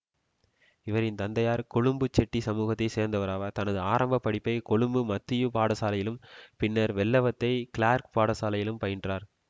இவரின் தந்தையார் கொழும்பு செட்டி சமுகத்தை சேர்ந்தவராவார் தனது ஆரம்ப படிப்பை கொழும்பு மத்தியூ பாடசாலையிலும் பின்னர் வெள்ளவத்தை கிளார்க் பாடசாலையிலும் பயின்றார்